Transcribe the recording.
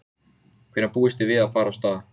Höskuldur: Hvaða skoðun hafi þið á þessum æfingum?